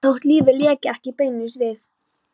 Þótt lífið léki ekki beinlínis við